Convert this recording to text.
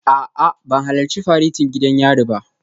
A'a ban halarci faretin gidan yari ba jiya